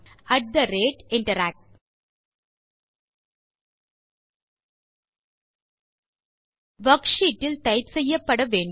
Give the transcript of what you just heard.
at the rate interact worksheet இல் type செய்யப்பட வேண்டும்